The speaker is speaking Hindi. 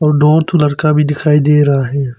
दो ठो लड़का भी दिखाई दे रहा है।